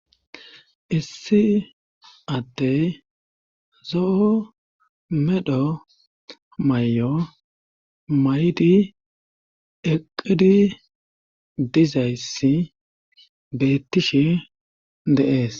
Issi atte zoo medho may'o mayidi eqqidi dizayssi beettishe deees.